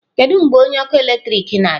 Kedu mgbe onye ọkụ eletrik na-abịa?